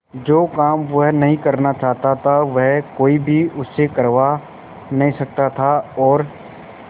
जो काम वह नहीं करना चाहता वह कोई भी उससे करवा नहीं सकता था और